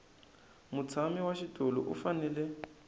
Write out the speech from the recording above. mutshami wa xitulu u fanele